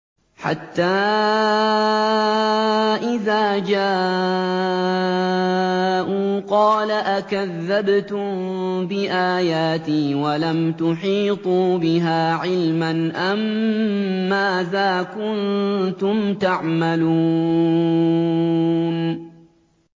حَتَّىٰ إِذَا جَاءُوا قَالَ أَكَذَّبْتُم بِآيَاتِي وَلَمْ تُحِيطُوا بِهَا عِلْمًا أَمَّاذَا كُنتُمْ تَعْمَلُونَ